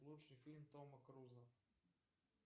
лучший фильм тома круза